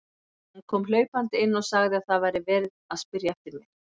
Hún kom hlaupandi inn og sagði að það væri verið að spyrja eftir mér.